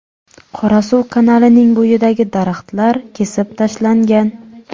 Qorasuv kanalining bo‘yidagi daraxtlar kesib tashlangan.